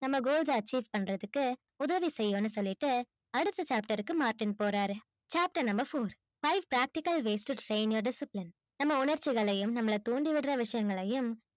நம்ம goals அ achieve பண்றதுக்கு உதவி செய்யும்னு சொல்லிட்டு அடுத்த chapter க்கு மார்ட்டின் போறாரு chapter number four five practical ways to train your discipline நம்ம உணர்ச்சிகளையும் நம்மள தூண்டி விடுற விஷயங்களையும்